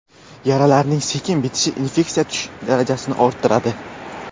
Yaralarning sekin bitishi infeksiya yuqish darajasini orttiradi.